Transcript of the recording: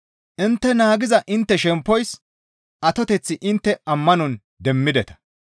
Intte naagiza intte shemppoys atoteth intte ammanon demmideta.